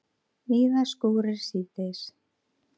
Víða skúrir síðdegis